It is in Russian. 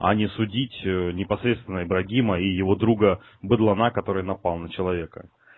а не судить непосредственно ибрагима и его друга быдлана который напал на человека